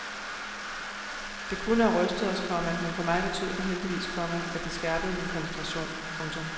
Det kunne havde rystet os, komma men for mig betød det heldigvis, komma at det skærpede min koncentration. punktum